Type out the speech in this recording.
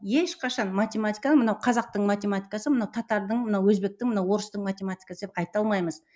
ешқашан математиканы мынау қазақтың математикасы мынау татардың мынау өзбектің мынау орыстың математикасы деп айта алмаймыз